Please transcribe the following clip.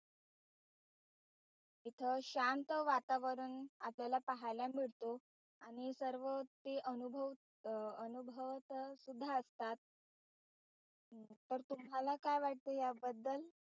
इथं शांत वातावरण आपल्याला पाहायला मिळतो आणि सर्व ते अनुभव अनुभवता सुद्धा येतात पर तुम्हाला काय वाटत याबद्दल?